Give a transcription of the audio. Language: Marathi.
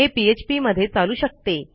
हे पीएचपी मध्ये चालू शकते